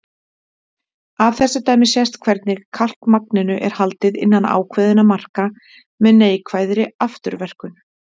Af þessu dæmi sést hvernig kalkmagninu er haldið innan ákveðinna marka með neikvæðri afturverkun.